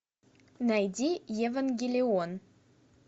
найди евангелион